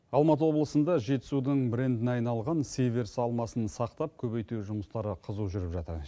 алматы облысында жетісудың брендіне айналған сиверс алмасын сақтап көбейту жұмыстары қызу жүріп жатыр